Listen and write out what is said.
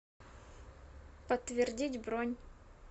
подтвердить бронь